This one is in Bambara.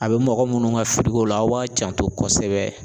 A bɛ mɔgɔ munnu ka firiko la aw b'a janto kosɛbɛ.